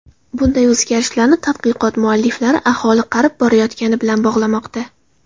Bunday o‘zgarishlarni tadqiqot mualliflari aholi qarib borayotgani bilan bog‘lamoqda.